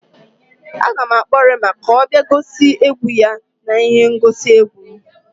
Aga m akpọ Reema ka ọ bịa gosi egwu ya n'ihe ngosi egwu m